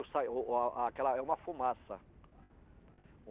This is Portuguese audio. Sai o a aquela é uma fumaça.